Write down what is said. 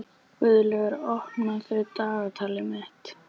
Guðlaugur, opnaðu dagatalið mitt.